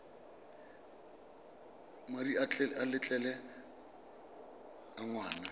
madi a letlole a ngwana